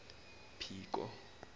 phiko